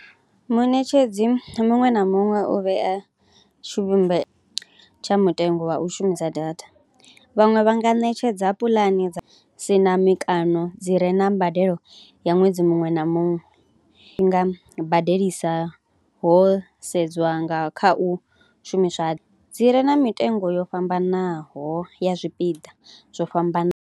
Munetshedzi muṅwe na muṅwe u vhea tshivhumbe tsha mutengo wa u shumisa data, vhaṅwe vha nga ṋetshedza puḽane dza si na mikano dzi re na mbadelo ya ṅwedzi muṅwe na muṅwe, i nga badelisa ho sedzwa nga kha u shumiswa dzi re na mitengo yo fhambanaho ya zwipiḓa zwo fhambanaho.